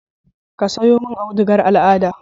Ka sayo mun audugar al'ada